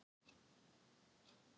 Allt var það gamalkunnugt.